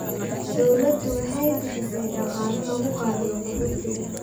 Dawladdu waxay bixisay dhaqaale lagu qaabilo qaxootiga.